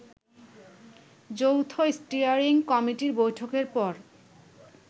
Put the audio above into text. যৌথ স্টিয়ারিং কমিটির বৈঠকের পর